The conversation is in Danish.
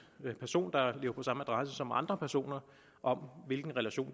person der lever på samme adresse som andre personer om hvilken relation